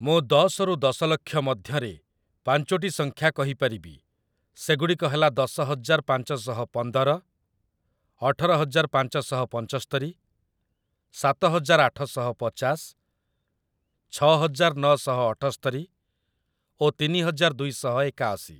ମୁଁ ଦଶ ରୁ ଦଶ ଲକ୍ଷ ମଧ୍ୟରେ ପାଞ୍ଚୋଟି ସଂଖ୍ୟା କହି ପାରିବି, ସେଗୁଡ଼ିକ ହେଲା ଦଶ ହଜାର ପାଞ୍ଚଶହ ପନ୍ଦର, ଅଠର ହଜାର ପାଞ୍ଚଶହ ପଞ୍ଚସ୍ତରୀ, ସାତ ହଜାର ଆଠ ଶହ ପଚାଶ, ଛଅ ହଜାର ନଅ ଶହ ଅଠସ୍ତରି ଓ ତିନି ହଜାର ଦୁଇ ଶହ ଏକାଅଶୀ ।